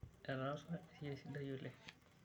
Etaasa esiai sidai oleng'.